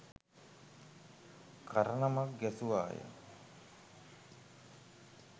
කරණමක් ගැසුවාය